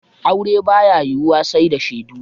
Aure ba ya yiwuwa sai da shaidu.